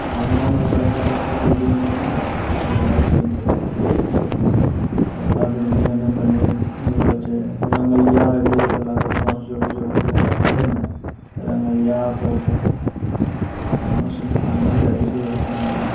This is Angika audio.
टाउनो में है बड़का-बड़का बिल्डिंग बनै छै ना है बिल्डिंग र सीन छेकै बड़का बिल्डिंग एगदम बनि र गेलो छै रंगैया होय रहलो छै लगै छै बाँस जोड़ि-जोड़ि क राखलो छै ना रंगैया होते-होतै टाउनो सिनी मे आदमी रहै छै यहाँ सिनी म |